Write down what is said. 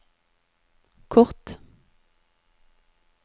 kort